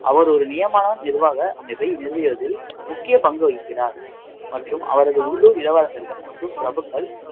அவர் ஒரு நியமன நிர்வாக அமைப்பை நிறுவியதில் முக்கிய பங்கு வகிக்கிறார் மற்றும் அவரது உள்ளூர் இளவரசர்கள் மற்றும் பிரபுக்கள்